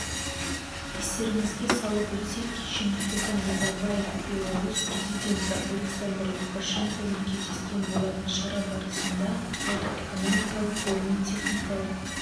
естеріңізге салып өтсек кеше нұрсұлтан назарбаев беларусь президенті александр лукашенкомен кездескен болатын шара барысында сауда-экономикалық ғылыми-техникалық